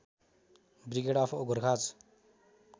वृगेड of Gorkhas